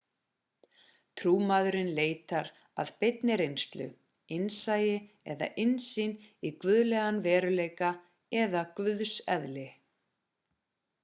trúmaðurinn leitar að beinni reynslu innsæi eða innsýn í guðlegan veruleika/ eða guðseðli